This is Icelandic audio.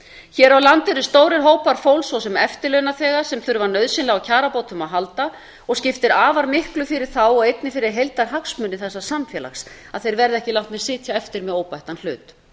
hér á landi eru stórir hópar fólks svo sem eftirlaunaþegar sem þurfa nauðsynlega á kjarabótum að halda og skiptir afar miklu fyrir þá og einnig fyrir heildarhagsmuni þessa samfélags að þeir verði ekki látnir sitja eftir með óbættan hlut